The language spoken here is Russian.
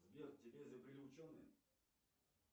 сбер тебя изобрели ученые